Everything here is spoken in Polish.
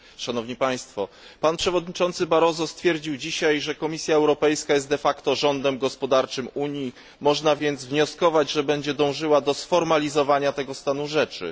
Pan przewodniczący Barroso stwierdził dzisiaj, że Komisja Europejska jest de facto rządem gospodarczym Unii, można więc wnioskować, że będzie dążyła do sformalizowania tego stanu rzeczy.